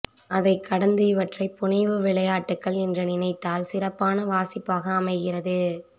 அதை கடந்து இவற்றை புனைவுவிளையாட்டுக்கள் என்று நினைத்தால் சிறப்பான வாசிப்பாக அமைகிறது